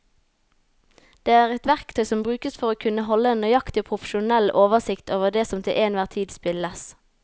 Det er et verktøy som brukes for å kunne holde en nøyaktig og profesjonell oversikt over det som til enhver tid spilles.